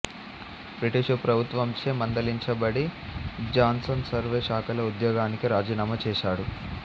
British ప్రభుత్వంచే మందలించబడి Johnson survey శాఖలో ఉద్యోగానికి రాజీనామా చేశాడు